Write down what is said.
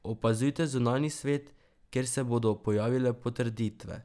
Opazujte zunanji svet, kjer se bodo pojavile potrditve.